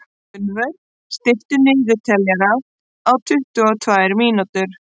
Gunnvör, stilltu niðurteljara á tuttugu og tvær mínútur.